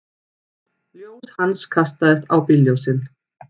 Ljós hans kastast á bílljósin.